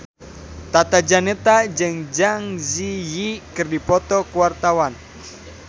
Tata Janeta jeung Zang Zi Yi keur dipoto ku wartawan